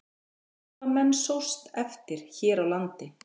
Hvað hafa menn sóst eftir hér á landi?